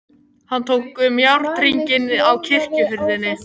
Hann tók um járnhringinn á kirkjuhurðinni.